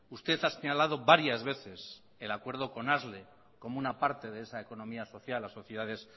usted ha señalado varias veces el acuerdo con asle como una parte de esa economía social asociaciones